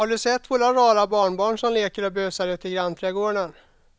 Har du sett våra rara barnbarn som leker och busar ute i grannträdgården!